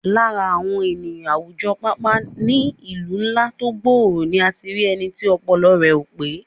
Lára àwọn ènìyàn àwùjọ, pàápàá ní ìlú ńlá tó gbòòrò ni a ti rí ẹni tí ọpọlọ rẹ̀ ò pé